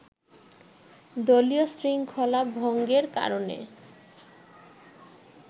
দলীয় শৃঙ্খলা ভঙ্গের কারণে